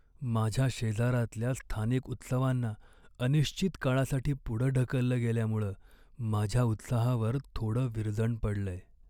माझ्या शेजारातल्या स्थानिक उत्सवांना अनिश्चित काळासाठी पुढं ढकललं गेल्यामुळं माझ्या उत्साहावर थोडं विरजण पडलंय.